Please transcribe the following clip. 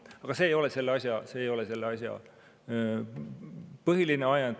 Aga see ei ole selle eelnõu põhiline ajend.